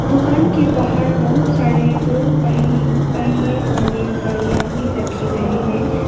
दुकान के बाहर बहुत सारे दो पहि पहिए वाले गाड़ियां भी रखे गए है।